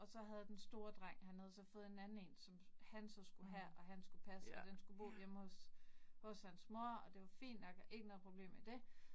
Og så havde den store dreng, han havde så fået en anden én, som han så skulle have, og han skulle passe, og den skulle bo hjemme hos hos hans mor, og det var fint nok, og ikke noget problem med det